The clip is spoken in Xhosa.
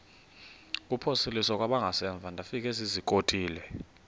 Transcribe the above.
kuphosiliso kwangaemva ndafikezizikotile